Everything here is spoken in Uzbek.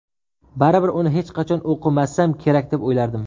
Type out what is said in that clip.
Baribir uni hech qachon o‘qimasam kerak deb o‘ylardim.